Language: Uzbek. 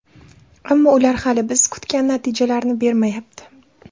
Ammo ular hali biz kutgan natijalarni bermayapti.